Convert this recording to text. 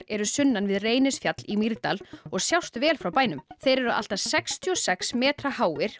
eru sunnan við Reynisfjall í Mýrdal og sjást vel frá bænum þeir eru allt að sextíu og sex metra háir